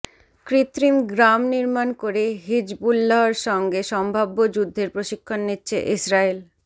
কৃত্রিম গ্রাম নির্মাণ করে হিজবুল্লাহর সঙ্গে সম্ভাব্য যুদ্ধের প্রশিক্ষণ নিচ্ছে ইসরাইল